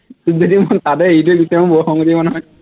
তোক যদি মই তাতে এৰি থৈ গুচি আহো বৰ খঙ উঠিব নহয়